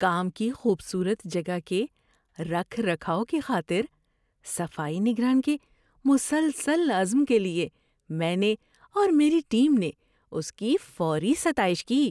کام کی خوبصورت جگہ کے رکھ رکھاؤ کی خاطر صفائی نگران کے مسلسل عزم کے لیے میں نے اور میری ٹیم نے اس کی فوری ستائش کی۔